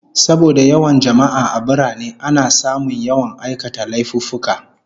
Saboda yawan jama'a a birane, ana samun yawan aikata laifuffuka